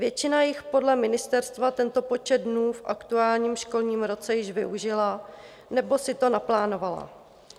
Většina jich podle ministerstva tento počet dnů v aktuálním školním roce již využila nebo si to naplánovala.